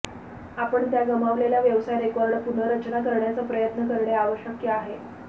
आपण त्या गमावलेला व्यवसाय रेकॉर्ड पुनर्रचना करण्याचा प्रयत्न करणे आवश्यक आहे